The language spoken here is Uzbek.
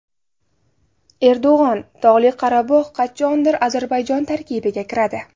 Erdo‘g‘on: Tog‘li Qorabog‘ qachondir Ozarbayjon tarkibiga kiradi.